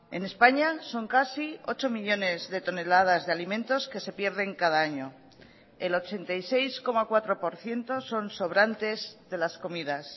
en españa son casi ocho millónes de toneladas de alimentos que se pierden cada año el ochenta y seis coma cuatro por ciento son sobrantes de las comidas